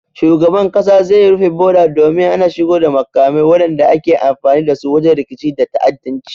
Shugaban kasa zai rufe boda domin hana shigo da makamai wadanda ake amfani dasu wajen rikici da ta'addanci